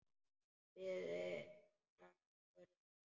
Biðuð þið nokkurn tíma?